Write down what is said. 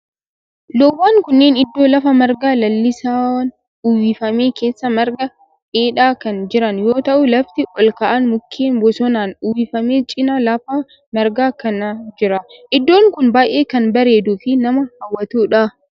Loowwan kunneen iddoo lafa marga lalisaan uwwifame keessa marga dheedaa kan jiran yoo ta'u lafti olka'aan mukkeen bosonaan uwwifame cinaa lafa margaa kana jira. Iddoon kun baayyee kan bareeduu fi nama hawwatudha.